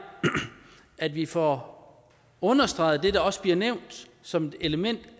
at vi får understreget det der også bliver nævnt som et element